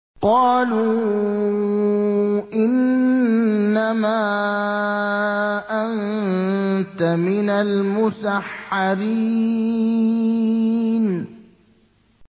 قَالُوا إِنَّمَا أَنتَ مِنَ الْمُسَحَّرِينَ